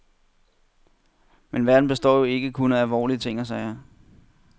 Men verden består jo ikke kun af alvorlige ting og sager.